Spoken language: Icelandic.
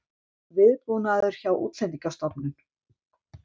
Viðbúnaður hjá Útlendingastofnun